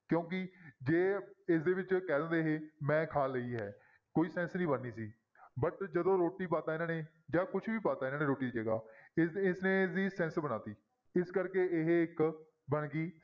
ਕਿਉਂਕਿ ਜੇ ਇਸਦੇ ਵਿੱਚ ਕਹਿ ਦੇਵੇ ਇਹ ਮੈਂ ਖਾ ਲਈ ਹੈ, ਕੋਈ sense ਨੀ ਬਣਨੀ ਸੀ but ਜਦੋਂ ਰੋਟੀ ਪਾ ਦਿੱਤਾ ਇਹਨਾਂ ਨੇ ਜਾਂ ਕੁਛ ਵੀ ਪਾ ਦਿੱਤਾ ਇਹਨਾਂ ਨੇ ਰੋਟੀ ਦੀ ਜਗ੍ਹਾ ਇਸ, ਇਸ ਨੇ ਇਸਦੀ sense ਬਣਾ ਦਿੱਤੀ, ਇਸ ਕਰਕੇ ਇਹ ਇੱਕ ਬਣ ਗਈ